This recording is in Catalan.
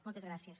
moltes gràcies